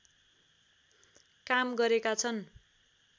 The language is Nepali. काम गरेका छन्